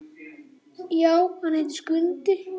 Já, hann heitir Skundi.